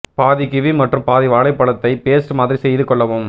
பாதி கிவி மற்றும் பாதி வாழைப்பழத்தை பேஸ்ட் மாதிரி செய்து கொள்ளவும்